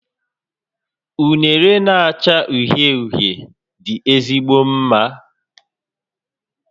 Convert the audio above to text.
Unere na-acha uhie uhie dị ezigbo mma